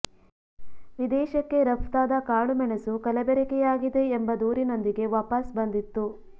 ವಿದೇಶಕ್ಕೆ ರಫ್ತಾದ ಕಾಳು ಮೆಣಸು ಕಲಬೆರಕೆಯಾಗಿದೆ ಎಂಬ ದೂರಿನೊಂದಿಗೆ ವಾಪಸ್ ಬಂದಿತ್ತು